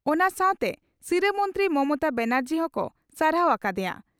ᱚᱱᱟ ᱥᱟᱶᱛᱮ ᱥᱤᱨᱟᱹ ᱢᱚᱱᱛᱨᱤ ᱢᱚᱢᱚᱛᱟ ᱵᱟᱱᱟᱨᱡᱤ ᱦᱚᱸᱠᱚ ᱥᱟᱨᱦᱟᱣ ᱟᱠᱟ ᱫᱮᱭᱟ ᱾